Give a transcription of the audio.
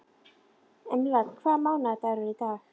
Emerald, hvaða mánaðardagur er í dag?